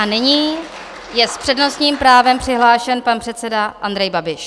A nyní je s přednostním právem přihlášen pan předseda Andrej Babiš.